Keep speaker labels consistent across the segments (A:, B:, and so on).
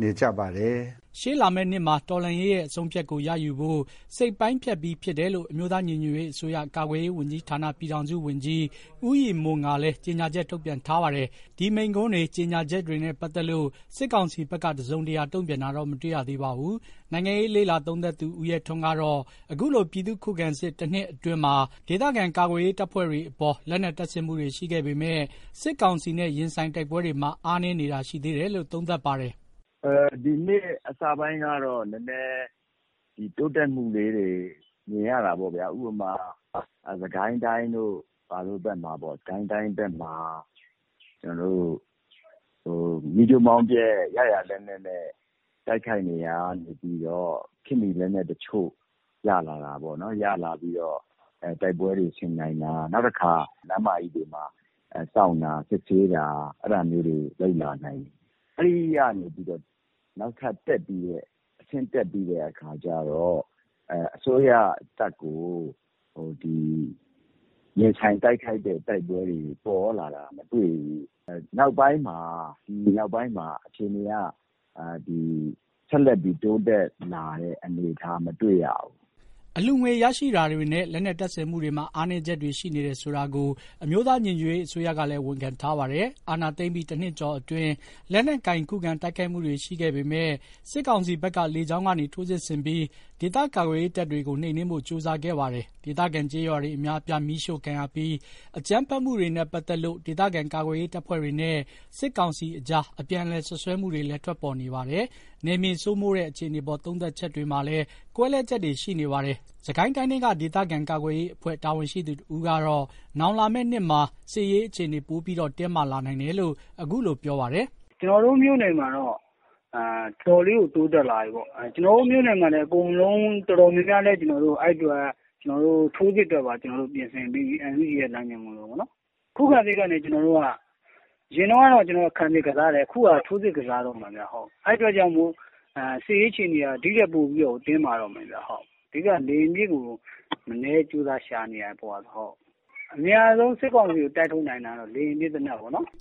A: နေကြပါတယ်။” ရှေ့လာမယ့်နှစ်မှာ တော်လှန်ရေးရဲ့အဆုံးအဖြတ်ကိုရယူဖို့ စိတ်ပိုင်းဖြတ်ပြီးဖြစ်တယ်လို့ အမျိုးသား ညီညွတ်ရေးအစိုးရ ကာကွယ်ရေးဝန်ကြီးဌာနပြည်ထောင်စုဝန်ကြီး ဦးရည်မွန်ကလည်း ကြေညာချက် ထုတ်ပြန်ထားပါတယ်။ ဒီမိန့်ခွန်းတွေ ကြေညာချက်တွေနဲ့ပတ်သက်လို့ စစ်ကောင်စီဘက်က တစုံတရာ တုံ့ပြန်တာတော့ မတွေ့ရသေးပါဘူး။ နိုင်ငံရေးလေ့လာသုံးသပ်သူ ဦးရဲထွန်းကတော့ အခုလို ပြည်သူ့ခုခံစစ် ၁ နှစ်အတွင်းမှာ ဒေသခံကာကွယ်ရေးတပ်ဖွဲ့တွေအပေါ် လက်နက်တပ်ဆင်မှုတွေ ရှိခဲ့ပေမယ့် စစ်ကောင်စီနဲ့ ရင်ဆိုင်တိုက်ပွဲတွေမှာ အားနည်းနေတာရှိသေးတယ်လို့ သုံးသပ်ပါတယ်
B: ။ “ဒီနှစ်အစပိုင်းကတော့ တိုးတက်မှုလေးတွေ မြင်ရတာပေါ့ဗျာ။ ဥပမာ စစ်ကိုင်းတိုင်းတို့ဘက်မှာ မီးကျိုးမောင်းပျက် ရရာလက်နက်နဲ့ တိုက်ခိုက်နေရာကနေပြီးတော့ ခေတ်မှီလက်နက်အချို့ရလာတာပေါ့နော်။ တိုက်ပွဲတွေဆင်နိုင်တာ နောက်တခါ လမ်းမကြီးတွေမှာ စောင့်တာ စစ်ဆေးတာ အဲ့ဒါမျိုးတွေ လုပ်လာနိုင်တယ်။ အဲ့ဒီကနေပြီးတော့ နောက်ထပ်တဆင့်တက်ပြီးတဲ့အခါကျတော့ အစိုးရတပ်ကို ရင်ဆိုင်တိုက်ခိုက်တဲ့တိုက်ပွဲတွေ ပေါ်လာတာ မတွေ့ဘူး။ ဒီနောက်ပိုင်းမှာ အခြေအနေက ဆက်လက်ပြီး တိုးတက်လာတဲ့ အနေအထား မတွေ့ရဘူး။”
A: အလှူငွေရရှိမှုတွေနဲ့ လက်နက်တပ်ဆင်မှုတွေမှာ အားနည်းချက်တွေရှိနေတယ်ဆိုတာကို အမျိုးသားညီညွတ်ရေးအစိုးရကလည်း ဝန်ခံထားပါတယ်။ အာဏာသိမ်းပြီး ၁ နှစ်ကျော်အတွင်း လက်နက်ကိုင် ခုခံတိုက်ခိုက်မှုတွေ ရှိခဲ့ပေမယ့် စစ်ကောင်စီဘက်က လေကြောင်းကနေထိုးစစ်ဆင်ပြီး ဒေသခံကာကွယ်ရေးတပ်တွေကို နှိမ်နှင်းဖို့ ကြိုးစားခဲ့ပါတယ်။ ဒေသခံကျေးရွာအများအပြား မီးရှို့ခံရပြီး အကြမ်းဖက်မှုတွေနဲ့ပတ်သက်လို့ ဒေသခံကာကွယ်ရေးတပ်ဖွဲ့တွေနဲ့ စစ်ကောင်စီကြား အပြန်အလှန်စွပ်စွဲချက်တွေလည်း ထွက်ပေါ်နေပါတယ်။ နယ်မြေစိုးမိုးတဲ့အခြေအနေအပေါ် သုံးသပ်ချက်တွေမှာလည်း ကွဲလွဲချက်တွေ ရှိနေပါတယ်။ စစ်ကိုင်းတိုင်းထဲက ဒေသခံကာကွယ်ရေးအဖွဲ့ တာဝန်ရှိသူတဦးကတော့ နောက်လာမယ့် နှစ်မှာ စစ်ရေးအခြေအနေ ပိုပြီး တင်းမာလာနိုင်တယ်လို့ အခုလိုပြောပါတယ်။ “ကျနေ
B: ာ်တို့မြို့နယ်မှာတော့ တော်တော်လေးကို တိုးတက်လာတယ်။ ကျနော်တို့မြို့နယ်မှာ တော်တော် များများလည်း အဲ့အတွက် ထိုးစစ်အတွက်ပါ ပြင်ဆင်ပြီးပြီ။ NUG လမ်းညွှန်မှုနဲ့ပေါ့။ ခုခံစစ်ကနေ အရင် တုန်းက ကျနော်တို့ခံစစ်ကစားတယ်။ အခုက ထိုးစစ်ကစားတော့မယ်။ အဲ့အတွက်ကြောင့်မို့ စစ်ရေးအခြေအနေက ဒီ့ထက်ပိုပြီး တင်းမာတော့မယ်။ အဓိက က လေယာဉ်ပစ်ကို မနည်းကြိုးစားရှာနေရတယ်။ အမြန်ဆုံးစစ်ကောင်စီကို တိုက်ထုတ်နိုင်တာက လေယာဉ်ပစ်ပေါ့။”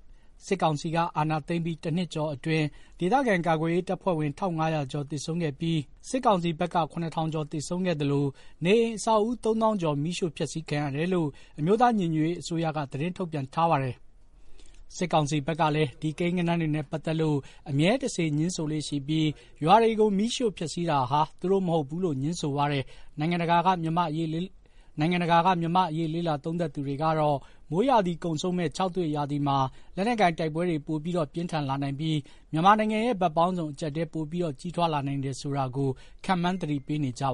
A: စစ်ကောင်စီက အာဏာသိမ်းပြီး ၁ နှစ်ကျော်အတွင်း ဒေသခံကာကွယ်ရေး တပ်ဖွဲ့ဝင် ၁,၅၀၀ ကျော် သေဆုံးခဲ့ပြီး စစ်ကောင်စီဘက်က ၇,၀၀၀ ကျော် သေဆုံးခဲ့သလို နေအိမ်အဆောက်အဦး ၃ သောင်းကျော် မီးရှို့ဖျက်ဆီးခံရတယ်လို့ အမျိုးသားညီညွတ်ရေး အစိုးရက သတင်းထုတ်ပြန်ထားပါတယ်။ စစ်ကောင်စီဘက်ကလည်း ဒီကိန်းဂဏန်းတွေနဲ့ ပတ်သက်လို့ အမြဲတစေ ငြင်းဆိုလေ့ရှိပြီး ရွာတွေကို မီးရှို့ဖျက်ဆီးတာဟာ သူတို့မဟုတ်ဘူးလို့ ငြင်းဆိုနေပါတယ်။ နိုင်ငံတကာက မြန်မာ့အရေးလေ့လာသူတွေကတော့ မိုးရာသီကုန်ဆုံးမယ့် ခြောက်သွေ့ရာသီမှာ လက်နက်ကိုင်တိုက်ပွဲတွေ ပို ပြင်းထန်လာနိုင်ပြီး မြန်မာနိုင်ငံရဲ့ ဘက်ပေါင်းစုံ အကြပ်အတည်းတွေပိုပြီး ကြီးထွားလာနိုင်တယ်ဆိုတာကို ခန့်မှန်း သတိပေးနေကြပါ